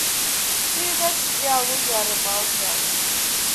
передача диалоги о рыбалке айч ди